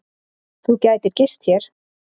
Þú gætir gist hér.